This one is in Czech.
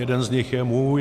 Jeden z nich je můj...